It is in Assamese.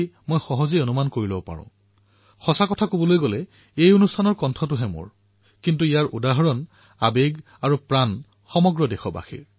এনেকুৱা লক্ষাধিক লোক আছে যাৰ নাম মই আজি পৰ্যন্ত মন কী বাতত লব নোৱাৰিলো কিন্তু তেওঁলোকে নিৰাশ নহৈ নিজৰ পত্ৰ নিজৰ মন্তব্য প্ৰেৰণ কৰেআপোনালোকৰ বিচাৰ আপোনালোকৰ ভাৱনাৰ মোৰ জীৱনত অধিক গুৰুত্ব আছে